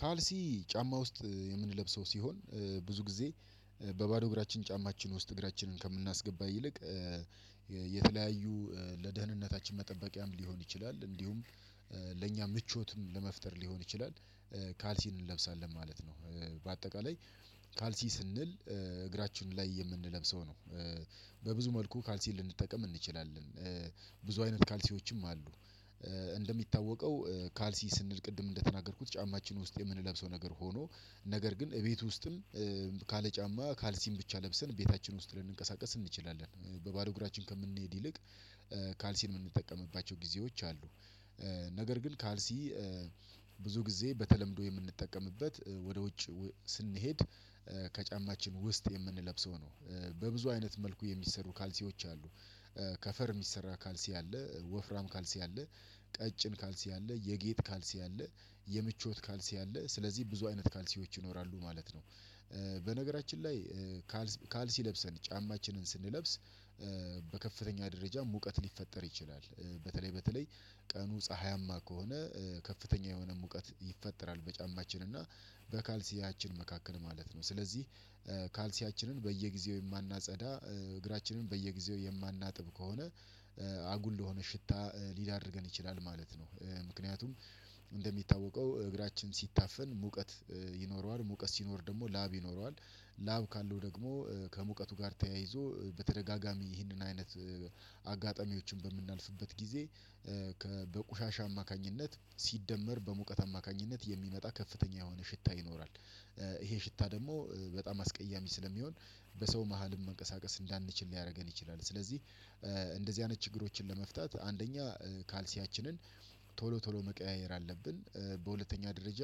ካልሲ ጫማ ውስጥ የምንለብሰው ሲሆን ብዙ ጊዜ በባዶ እግራችን ጫማችን ውስጥ እግራችንን ከምናስገባ ይልቅ የተለያዩ ለደህንነታችን መጠበቂያም ሊሆን ይችላል እንዲሁም ለእኛ ምቾትም ለመፍጠር ሊሆን ይችላል። ካልሲን እንለብሳለን ማለት ነው በአጠቃላይ ካልሲ ስንል እግራችን ላይ የምንለብሰው ነው። በብዙ መልኩ ካልሲን ልንጠቀም እንችላለን ብዙ አይነት ካልሲዎችም አሉ። እንደሚታወቀው ካልሲ ስንል ቅድም እንደተናገርኩት ጫማችን ውስጥ የምንለብሰው ነገር ሆኖ ነገር ግን እቤት ውስጥም ካለ ጫማ ካልሲም ብቻ ለብሰን ቤታችን ውስጥ ልንንቀሳቀስ እንችላለን። በባዶ እግራችን ከምንሄድ ይልቅ ካልሲን የምንጠቀምባቸው ጊዜዎች አሉ። ነገር ግን ካልሲ ብዙ ጊዜ በተለምዶ የምንጠቀምበት ወደ ውጭ ስንሄድ ከጫማችን ውስጥ የምንለብሰው ነው። በብዙ አይነት መልኩ የሚሰሩ ካልሲዎች አሉ ከፈር የሚሰራ ካልሲ አለ ወፍራም ካልሲ አለ ቀጭን ካልሲ አለ የጌጥ ካልሲ አለ የምቾት ካልሲ አለ ስለዚህ ብዙ አይነት ካልሲዎች ይኖራሉ ማለት ነው። በነገራችን ላይ ካልሲ ለብሰን ጫማችንን ስንለብስ በከፍተኛ ደረጃ ሙቀት ሊፈጠር ይችላል በተለይ በተለይ ቀኑ ፀሀያማ ከሆነ ከፍተኛ የሆነ ሙቀት ይፈጠራል በጫማችን እና በካልሲያችን መካከል ማለት ነው። ስለዚህ ካልሲያችንን በየጊዜው የማናጸዳ እግራችንን በየጊዜው የማናጥብ ከሆነ አጉል ለሆነ ሽታ ሊዳርገን ይችላል ማለት ነው። ምክንያቱም እንደሚታወቀው እግራችን ሲታፈን ሙቀት ይኖረዋል ሙቀት ሲኖር ደግሞ ላብ ይኖረዋል ላብ ካለው ደግሞ ከሙቀቱ ጋር ተያይዞ በተደጋጋሚ ይህንን አይነት አጋጣሚዎችን በምናልፍበት ጊዜ በቆሻሻ አማካኝነት ሲደመር በሙቀት አማካኝነት የሚመጣ ከፍተኛ የሆነ ሽታ ይኖራል። ይሄ ሽታ ደግሞ በጣም አስቀያሚ ስለሚሆን በሰው መሃልም መንቀሳቀስ እንዳንችል ሊያደርገን ይችላል። ስለዚህ እንደዚህ አይነት ችግሮችን ለመፍታት አንደኛ ካልሲያችንን ቶሎ ቶሎ መቀያየር አለብን። በሁለተኛ ደረጃ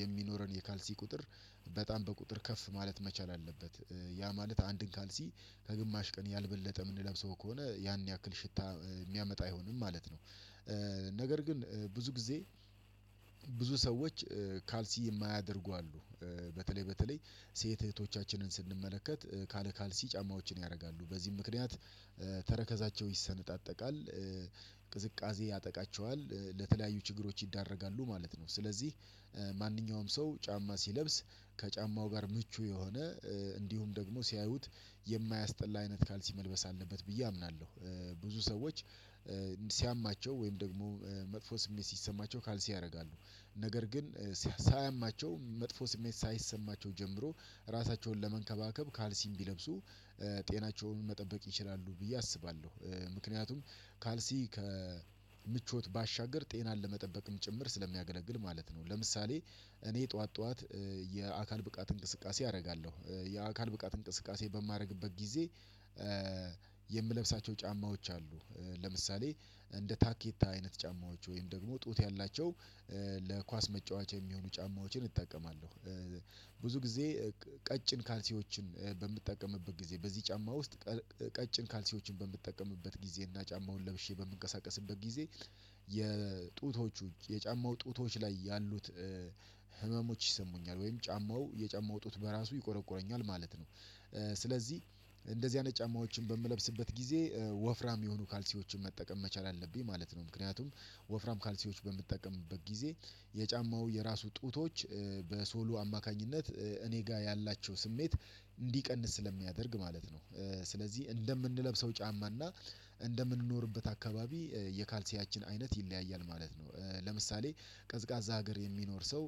የሚኖረን የካልሲ ቁጥር በጣም በቁጥር ከፍ ማለት መቻል አለበት ያ ማለት አንድን ካልሲ ከግማሽ ቀን ያልበለጠ የምንለብሰው ከሆነ ያን ያክል ሽታ የሚያመጣ አይሆንም ማለት ነው። ነገር ግን ብዙ ጊዜ ብዙ ሰዎች ካልሲ የማያደርጉ አሉ በተለይ በተለይ ሴት እህቶቻችንን ስንመለከት ካለ ካልሲ ጫማዎችን ያደርጋሉ በዚህም ምክንያት ተረከዛቸው ይሰነጣጠቃል ቅዝቃዜ ያጠቃቸዋል ለተለያዩ ችግሮች ይዳረጋሉ ማለት ነው። ስለዚህ ማንኛውም ሰው ጫማ ሲለብስ ከጫማው ጋር ምቹ የሆነ እንዲሁም ደግሞ ሲያዩት የማያስጠላ አይነት ካልሲ መልበስ አለበት ብዬ አምናለሁ። ብዙ ሰዎች ሲያማቸው ወይም ደግሞ መጥፎ ስሜት ሲሰማቸው ካልሲ ያደርጋሉ ነገር ግን ሳያማቸው መጥፎ ስሜት ሳይሰማቸው ጀምሮ ራሳቸውን ለመንከባከብ ካልሲም ቢለብሱ ጤናቸውን መጠበቅ ይችላሉ ብዬ አስባለሁ። ምክንያቱም ካልሲ ከምቾት ባሻገር ጤናን ለመጠበቅም ጭምር ስለሚያገለግል ማለት ነው። ለምሳሌ እኔ ጠዋት ጠዋት የአካል ብቃት እንቅስቃሴ አደርጋለሁ የአካል ብቃት እንቅስቃሴ በማደርግበት ጊዜ የምለብሳቸው ጫማዎች አሉ ለምሳሌ እንደ ታኬታ አይነት ጫማዎች ወይም ደግሞ ጡት ያላቸው ለኳስ መጫወቻ የሚሆኑ ጫማዎችን እጠቀማለሁ። ብዙ ጊዜ ቀጭን ካልሲዎችን በምትጠቀምበት ጊዜ በዚህ ጫማ ውስጥ ቀጭን ካልሲዎችን በምትጠቀምበት ጊዜ እና ጫማውን ለብሼ በምንቀሳቀስበት ጊዜ የጡቶች የጫማው ጡቶች ላይ ያሉት ህመሞች ይሰሙኛል ወይም ጫማው የጫማው ጡት በራሱ ይቆረቁረኛል ማለት ነው። ስለዚህ እንደዚህ አይነት ጫማዎችን በምለብስበት ጊዜ ወፍራም የሆኑ ካልሲዎችን መጠቀም መቻል አለብኝ ማለት ነው። ምክንያቱም ወፍራም ካልሲዎች በምጠቀምበት ጊዜ የጫማው የራሱ ጡቶች በሶሉ አማካኝነት እኔ ጋር ያላቸው ስሜት እንዲቀንስ ስለሚያደርግ ማለት ነው። ስለዚህ እንደምንለብሰው ጫማ እና እንደምንኖርበት አካባቢ የካልሲያችን አይነት ይለያያል ማለት ነው። ለምሳሌ ቀዝቃዛ ሀገር የሚኖር ሰው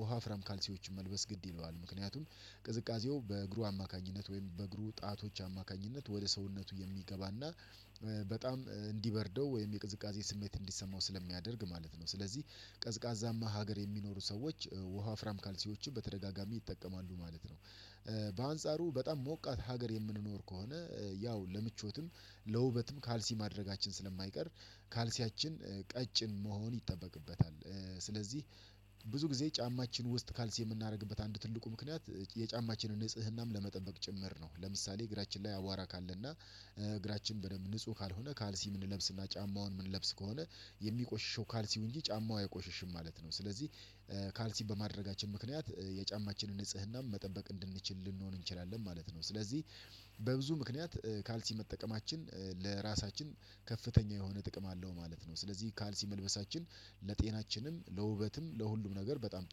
ወፋፍራም ካልሲዎችን መልበስ ግድ ይለዋል ምክንያቱም ቅዝቃዜው በእግሩ አማካኝነት ወይም በእግሩ ጣቶች አማካኝነት ወደ ሰውነቱ የሚገባና በጣም እንዲበርደው ወይም የቅዝቃዜ ስሜት እንዲሰማው ስለሚያደርግ ማለት ነው። ስለዚህ ቀዝቃዛማ ሀገር የሚኖሩ ሰዎች ወፋፍራም ካልሲዎችን በተደጋጋሚ ይጠቀማሉ ማለት ነው። በአንጻሩ በጣም ሞቃት ሀገር የምንኖር ከሆነ ያው ለምቾትም ለውበትም ካልሲ ማድረጋችን ስለማይቀር ካልሲያችን ቀጭን መሆን ይጠበቅበታል። ስለዚህ ብዙ ጊዜ ጫማችን ውስጥ ካልሲ የምናደርግበት አንድ ትልቁ ምክንያት የጫማችንን ንጽህናም ለመጠበቅ ጭምር ነው። ለምሳሌ እግራችን ላይ አዋራ ካለና እግራችን በደንብ ንጹህ ካልሆነ ካልሲ የምንለብስና ጫማውን የምንለብስ ከሆነ የሚቆሽሸው ካልሲው እንጂ ጫማው አይቆሽሽም ማለት ነው። ስለዚህ ካልሲ በማድረጋችን ምክንያት የጫማችንን ንጽህናም መጠበቅ እንድንችል ልንሆን እንችላለን ማለት ነው። ስለዚህ በብዙ ምክንያት ካልሲ መጠቀማችን ለራሳችን ከፍተኛ የሆነ ጥቅም አለው ማለት ነው። ስለዚህ ካልሲ መልበሳችን ለጤናችንም ለውበትም ለሁሉም ነገር በጣም